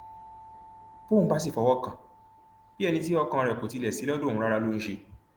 bọun bá sì fọwọ kàn án bíi ẹni tí ọkàn rẹ kò tilẹ sí lọdọ òun rárá ló ń ṣe